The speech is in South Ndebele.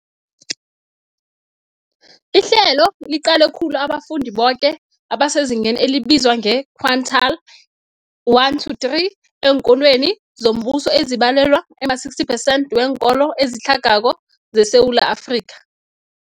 Ihlelo liqale khulu abafundi boke abasezingeni elibizwa nge-quintile 1-3 eenkolweni zombuso, ezibalelwa ema-60 phesenthi weenkolo ezitlhagako zeSewula Afrika.